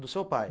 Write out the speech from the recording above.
Do seu pai?